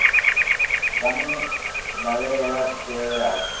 vha nga lavhelela zwi tevhelaho